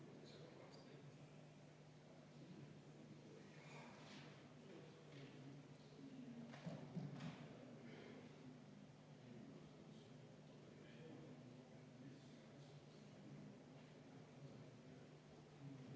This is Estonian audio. Me ei tea ka seda, kui palju on meil renditööjõudu teistest Euroopa Liidu riikidest, sellepärast et kontroll selle üle ju puudub.